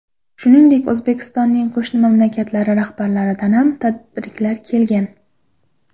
Shuningdek, O‘zbekistonning qo‘shni mamlakatlari rahbarlaridan ham tabriklar kelgan.